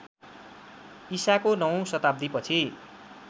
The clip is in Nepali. ईसाको नवौँ शताब्दीपछि